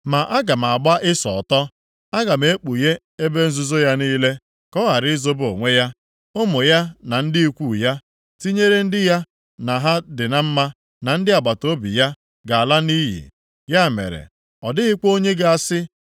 Ma aga m agba Ịsọ ọtọ. + 49:10 Agaghị ahapụrụ ya ihe ọbụla Aga m ekpughe ebe nzuzo ya niile ka ọ ghara izobe onwe ya. Ụmụ ya na ndị ikwu ya, + 49:10 Maọbụ, ndị ikom ya ji ngwa agha tinyere ndị ya na ha dị na mma na ndị agbataobi ya, ga-ala nʼiyi. Ya mere, ọ dịghịkwa onye ga-asị,